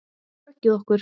Bjargið okkur!